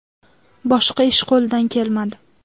Boshqa ish qo‘lidan kelmadi.